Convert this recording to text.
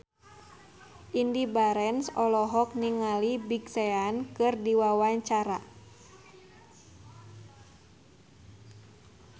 Indy Barens olohok ningali Big Sean keur diwawancara